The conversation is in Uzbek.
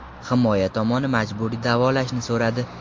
Himoya tomoni majburiy davolashni so‘radi.